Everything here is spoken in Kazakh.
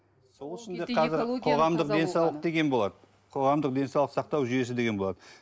сол үшін де қазір қоғамдық денсаулық деген болады қоғамдық денсаулық сақтау жүйесі деген болады